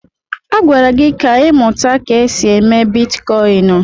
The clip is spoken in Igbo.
Agwara gị ka ịmụta ka esi eme bitkọịn!